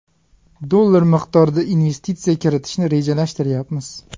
dollar miqdorida investitsiya kiritishni rejalashtiryapmiz.